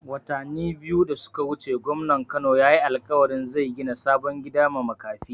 Watani biyu da suka wuce gwamnan Kano yayi alƙawarin zai gina sabon gida ma makafi